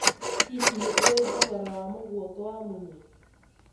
hihi nĩũĩ thogora wa mũguongo wa munyi